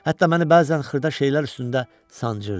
Hətta məni bəzən xırda şeylər üstündə sancırdı.